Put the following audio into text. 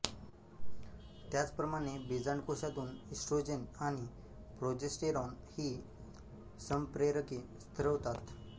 त्याचप्रमाणे बीजांडकोशातून ईस्ट्रोजेन आणि प्रोजेस्टेरॉन ही संप्रेरके स्रवतात